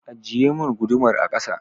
Ajiyemin gudumar a kasa!